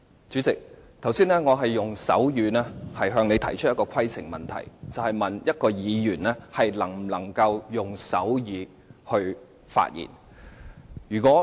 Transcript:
主席，我剛才用手語向你提出規程問題，詢問議員能否用手語發言。